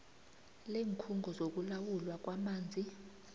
leenkhungo zokulawulwa kwamanzi